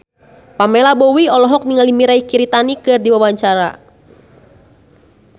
Pamela Bowie olohok ningali Mirei Kiritani keur diwawancara